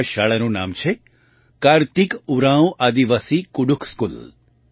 આ શાળાનું નામ છે કાર્તિક ઉરાંવ આદિવાસી કુડુખ સ્કૂલ